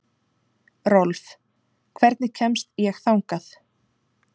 Rolf, hvernig kemst ég þangað?